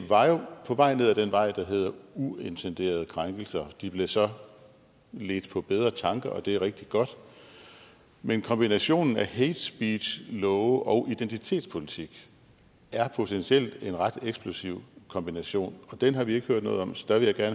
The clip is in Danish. var jo på vej ned ad den vej der hedder uintenderede krænkelser de blev så ledt på bedre tanker og det er rigtig godt men kombinationen af hatespeechlove og identitespolitik er potentielt en ret eksplosiv kombination og den har vi ikke hørt noget om så der vil jeg da